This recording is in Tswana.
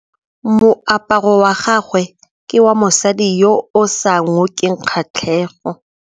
Moaparô wa gagwe ke wa mosadi yo o sa ngôkeng kgatlhegô.